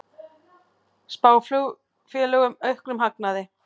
Spá flugfélögum auknum hagnaði